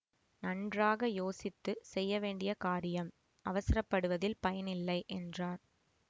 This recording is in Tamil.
நன்றாக யோசித்து செய்ய வேண்டிய காரியம் அவசரப்படுவதில் பயனில்லை என்றார்